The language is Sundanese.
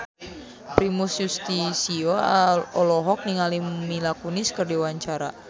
Primus Yustisio olohok ningali Mila Kunis keur diwawancara